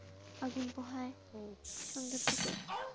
আগুন পোহায় সন্ধ্যার দিকে।